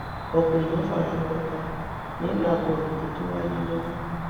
ọpọ èèyàn fara gbọtà nínú àkọlù tó tún wáyé lọwọ